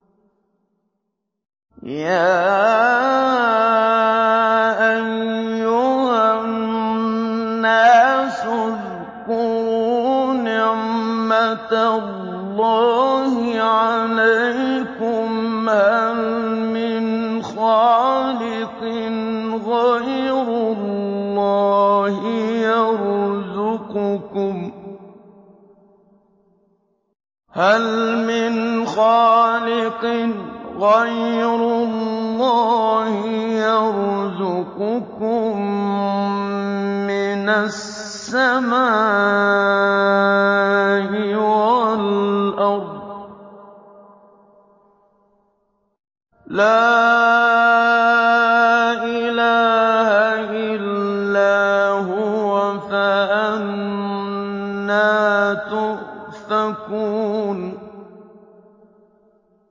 يَا أَيُّهَا النَّاسُ اذْكُرُوا نِعْمَتَ اللَّهِ عَلَيْكُمْ ۚ هَلْ مِنْ خَالِقٍ غَيْرُ اللَّهِ يَرْزُقُكُم مِّنَ السَّمَاءِ وَالْأَرْضِ ۚ لَا إِلَٰهَ إِلَّا هُوَ ۖ فَأَنَّىٰ تُؤْفَكُونَ